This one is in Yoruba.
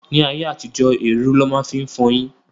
Ní ayé àtijó, érú lọ máa ń fi fọyín.